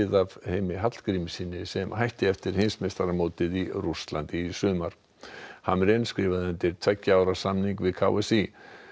af Heimi Hallgrímssyni sem hætti eftir heimsmeistaramótið í Rússlandi í sumar skrifaði undir tveggja ára samning við k s í